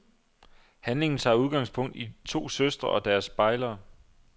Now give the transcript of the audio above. Handlingen tager udgangspunkt i to søstre og deres bejlere.